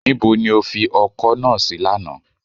Nibo ni o fi ọkọ́ náà sí lánàá